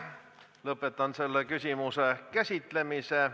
Lõpetan selle küsimuse käsitlemise.